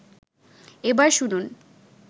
এবার শুনুন